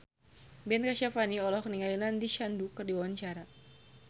Ben Kasyafani olohok ningali Nandish Sandhu keur diwawancara